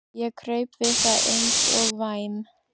Ég kraup við það eins og væm